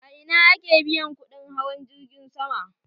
A ina ake biyan kuɗin hawan jirgin sama?